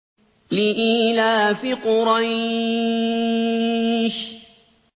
لِإِيلَافِ قُرَيْشٍ